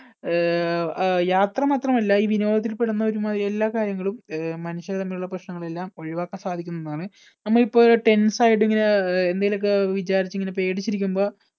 അഹ് യാത്ര മാത്രമല്ല ഈ വിനോദത്തിൽ പെടുന്ന എല്ലാ കാര്യങ്ങളും മനുഷ്യര്‍ തമ്മിലുള്ള പ്രശ്നങ്ങൾ എല്ലാം ഒഴിവാക്കാൻ സാധിക്കും എന്നാണ് നമ്മൾ ഇപ്പോൾ tens ആയിട്ടിങ്ങനെ എന്തെങ്കിലുമൊക്കെ വിചാരിച്ചു ഇങ്ങനെ പേടിച്ചിരിക്കുമ്പോൾ